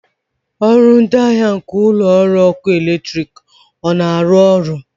ọrụ ndị ahịa nke ụlọ ọrụ ọkụ eletrik na-arụ ọrụ?